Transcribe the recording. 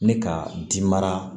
Ni ka ji mara